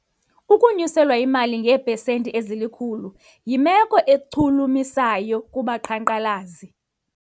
Ukunyuselwa imali ngeepesenti ezilikhulu yimelo echulumachisayo kubaqhankqalazi.